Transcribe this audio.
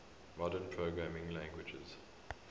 modern programming languages